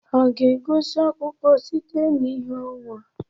Ha ga-egosi akụkọ site n'ìhè ọnwa?